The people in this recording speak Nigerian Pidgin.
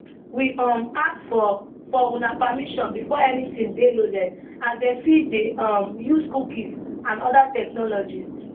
we um ask for for una permission before anytin dey loaded as dem fit dey um use cookies and oda technologies